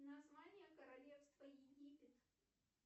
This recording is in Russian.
название королевства египет